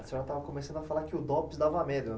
A senhora estava começando a falar que o Dopes dava medo.